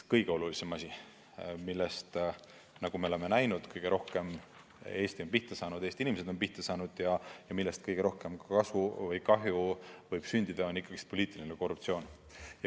Kõige halvem asi, mille tõttu, nagu me oleme näinud, Eesti on kõige rohkem pihta saanud, Eesti inimesed on pihta saanud ja millest kõige rohkem kahju võib sündida, on poliitiline korruptsioon.